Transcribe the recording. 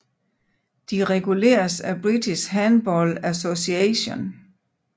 De reguleres af British Handball Association